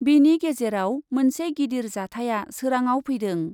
बेनि गेजेराव मोनसे गिदिर जाथाया सोराङाव फैदों ।